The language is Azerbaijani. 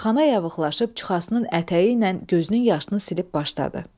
Xana yavıqlaşıb çuxasının ətəyi ilə gözünün yaşını silib başladı: